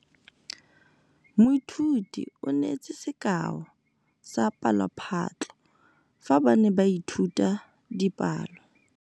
Moithuti o neetse sekaô sa palophatlo fa ba ne ba ithuta dipalo.